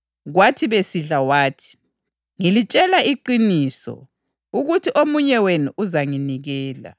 Kwathi besidla wathi, “Ngilitshela iqiniso ukuthi omunye wenu uzanginikela.”